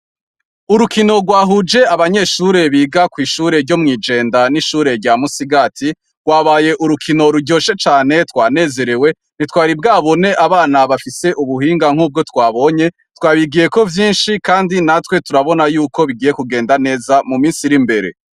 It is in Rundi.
Urukino rwahuje abanyeshure biga kw'ishure ryo mw'ijenda n'ishure rya musigati rwabaye urukino ruryoshe cane twanezerewe ntitwaribwabone abana bafise ubuhinga nk'ubwo twabonye twabigiye ko vyinshi, kandi natwe turabona yuko bigiye kugenda neza mu misi r'imbere.